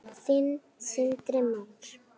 Þinn, Sindri Már.